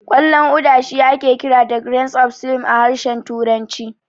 Ƙwallon Uda shi ake kira da "Grains of Slim" a harshen turanci.